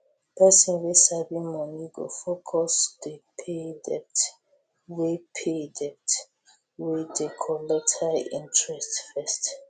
pesin wey sabi moni go focus dey pay debt wey pay debt wey dey collect high interest first